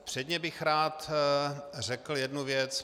Předně bych rád řekl jednu věc.